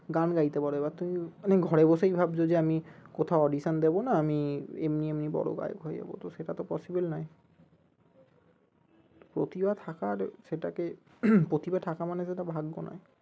গান গাইতে পারো এবার তুমি মানে ঘরে বসেই ভাবছো যে আমি কোথাও audition দেব না আমি এমনি এমনি বড়ো গায়ক হয়ে যাবো তো সেটা তো possible নই প্রতিভা থাকা আর সেটাকে প্রতিভা থাকা মানে সেটা ভাগ্য নই